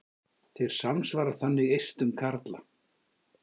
Þeir samsvara þannig eistum karla.